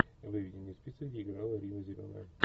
выведи мне список где играла рина зеленая